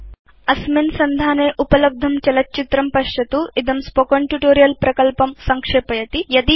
httpspoken tutorialorgWhat is a Spoken Tutorial अत्र उपलब्धं चलत् चित्रं पश्यतु इदं स्पोकेन ट्यूटोरियल् प्रकल्पं संक्षेपयति